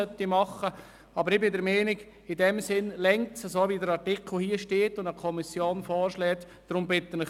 Ich bin der Meinung, dass der vorliegende Artikel, wie er von der Kommission vorgeschlagen wurde, in diesem Sinn ausreicht.